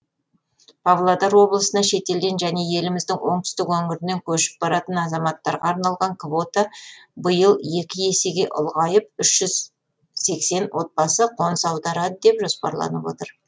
павлодар облысына шетелден және еліміздің оңтүстік өңірінен көшіп баратын азаматтарға арналған квота биыл екі есеге ұлғайып үш жүз сексен отбасы қоныс аударады деп жоспарланып отыр